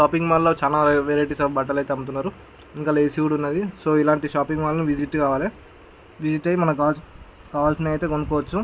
Shopping మాల్లో చాలా varieties of బట్టలు అయితే అమ్ముతున్నారు ఇంకా ఏ.సీ. కూడా ఉన్నది సో ఇలాంటి షాపింగ్ మాల్ ని విజిట్ కావాలి విజిట్ ఐ మనకి కావాలసి కావాల్సినాటివి అయితే కొనుకోవచ్చు.